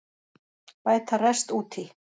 Bæta rest út í